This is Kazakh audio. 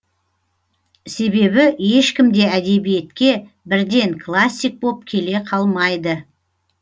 себебі ешкім де әдебиетке бірден классик боп келе қалмайды